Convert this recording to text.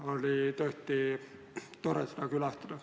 Oli tõesti tore seda külastada.